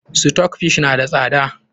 Stockfish na da safe.